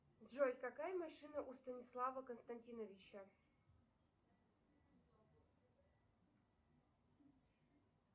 джой какая машина у станислава константиновича